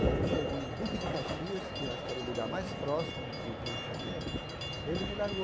Quando chegou em Duque de Caxias, que eu acho que era o lugar mais próximo do Rio de Janeiro, ele me largou